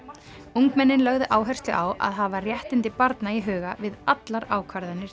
ungmennin lögðu áherslu á að hafa réttindi barna í huga við allar ákvarðanir